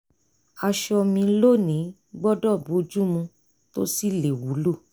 aṣọ mi lónìí gbọ́dọ̀ bojú mu tó sì lè wúlò